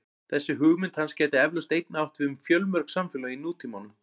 Þessi hugmynd hans gæti eflaust einnig átt við fjölmörg samfélög í nútímanum.